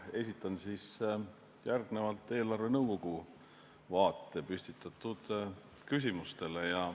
Esitan järgnevalt eelarvenõukogu vaate püstitatud küsimustele.